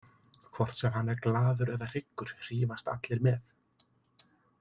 Hvort sem hann er glaður eða hryggur hrífast allir með.